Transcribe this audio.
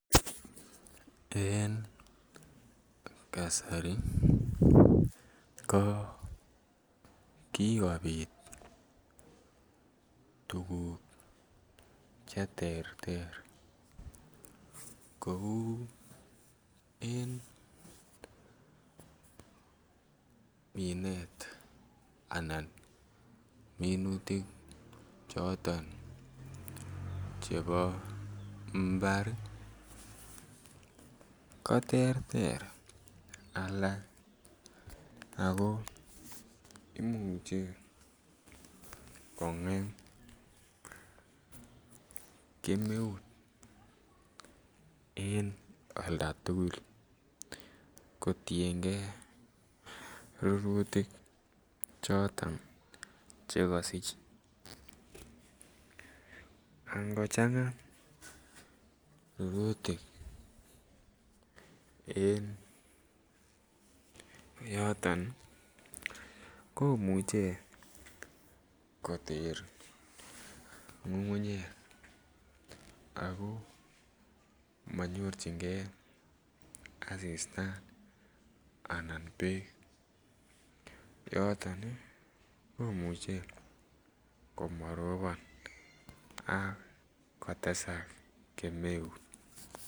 En kasari ko kikopit tuguk che terter kouu en minet anan minutik choton chebo mbar ii ko terter alak ako imuche konget kemeut en olda tuguk kotiengee rurutik choton che kosich angochanga rurutik en yoton ii komuche koter ngungunyek ako monyorjigee asista anan beek yoton komuche komo robon ak kotesak kemeut